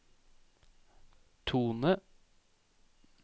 tone